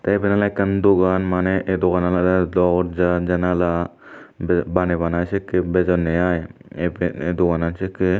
tey iben oley ekkan maneh ei doganan olodey dorja janala baney bunai sekkey bejonney ai ei pe ei doganan sekkey.